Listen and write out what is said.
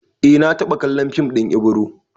Eh na taɓa kallon fim ɗin Ibro